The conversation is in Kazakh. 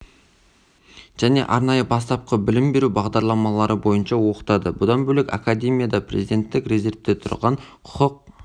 және арнайы бастапқы білім беру бағдарламалары бойынша оқытады бұдан бөлек академияда президенттік резервте тұрған құқық